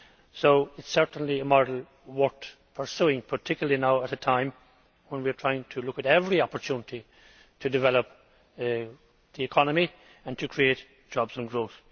So it is certainly a model worth pursuing, particularly now at a time when we are trying to look at every opportunity to develop the economy and to create jobs and growth.